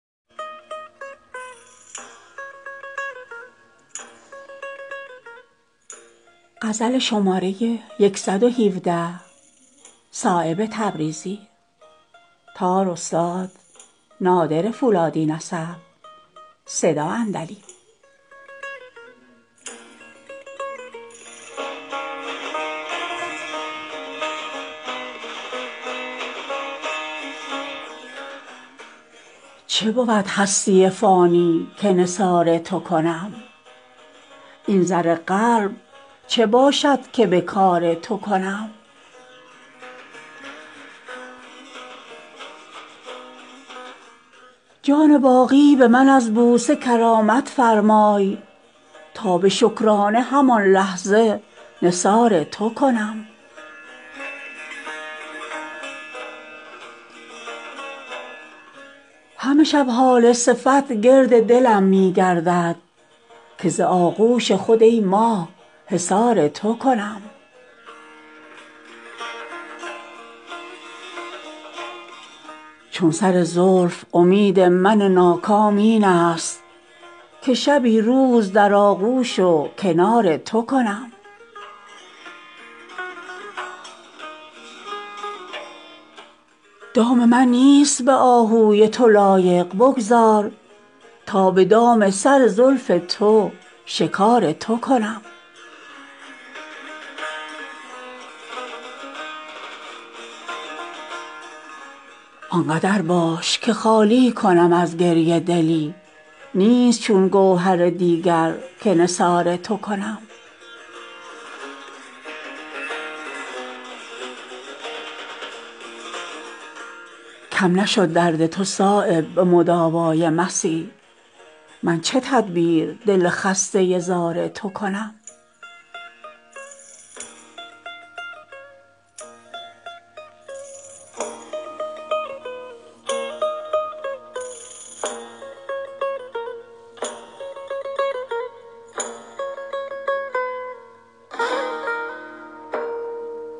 چه بود هستی فانی که نثار تو کنم این زر قلب چه باشد که به کار تو کنم جان باقی به من از بوسه کرامت فرمای تا به شکرانه همان لحظه نثار تو کنم همه شب هاله صفت گرد دلم می گردد که ز آغوش خود ای ماه حصار تو کنم چون سر زلف امید من ناکام این است که شبی روز در آغوش و کنار تو کنم دام من نیست به آهوی تو لایق بگذار تا به دام سر زلف تو شکار تو کنم زلف شد چشم سراپا و ترا سیر ندید من به یک دیده چسان سیر عذار تو کنم آنقدر باش که خالی کنم از گریه دلی نیست چون گوهر دیگر که نثار تو کنم من و بی روی تو نظاره یوسف هیهات چون به این جام تهی دفع خمار تو کنم حاش لله که به رخسار بهشت اندازم دیده ای را که منقش به نگار تو کنم همچنان بر کف پای تو دلم می لرزد اگر از پرده دل راهگذار تو کنم کم نشد درد تو صایب به مداوای صبح من چه تدبیر دل خسته زار تو کنم